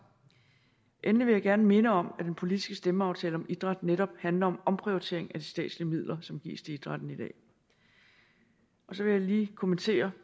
endelig vil jeg gerne minde om at den politiske stemmeaftale om idræt netop handler om en omprioritering af de statslige midler som gives til idrætten i dag og så vil jeg lige kommentere